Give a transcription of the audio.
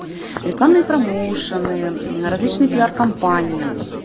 рекламные промоушены различные пиар компании